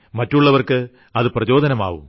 മറ്റുള്ളവർക്ക് അത് പ്രചോദനങ്ങളാകും